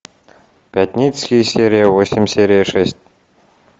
пятницкий серия восемь серия шесть